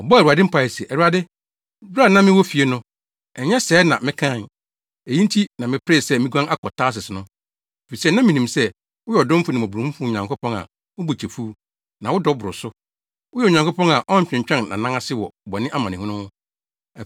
Ɔbɔɔ Awurade mpae se, “ Awurade, bere a na mewɔ fie no, ɛnyɛ sɛɛ na mekae? Eyi nti na meperee sɛ miguan akɔ Tarsis no, efisɛ na minim sɛ, woyɛ ɔdomfo ne mmɔborɔhunu Nyankopɔn a wo bo kyɛ fuw, na wo dɔ boro so. Woyɛ Onyankopɔn a ɔtwentwɛn nʼanan ase wɔ bɔne amanehunu ho.